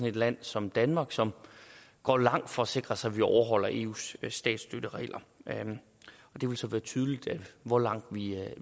et land som danmark som går langt for at sikre sig at vi overholder eus statsstøtteregler det vil så være tydeligt hvor langt